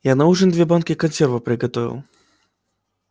я на ужин две банки консервов приготовил